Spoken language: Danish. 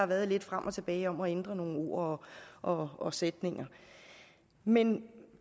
været lidt frem og tilbage om at ændre nogle ord og og sætninger men